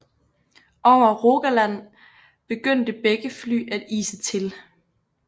Over Rogaland begyndte begge fly at ise til